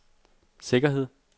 sikkerhed